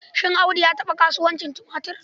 Shin Audu ya taɓa kasuwancin tumatur?